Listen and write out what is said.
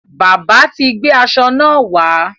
Bábà ti gbé aṣọ náà wá.